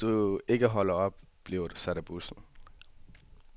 Hvis du ikke holder op, bliver du sat af bussen.